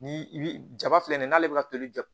Ni i bi jaba filɛ nin ye n'ale bɛ ka toli